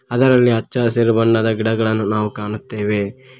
ಅದರಲ್ಲಿ ಹಚ್ಚ ಹಸಿರು ಬಣ್ಣದ ಗಿಡಗಳನ್ನು ನಾವು ಕಾಣುತ್ತೇವೆ.